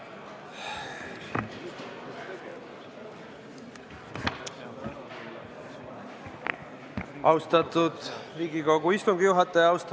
Austatud Riigikogu istungi juhataja!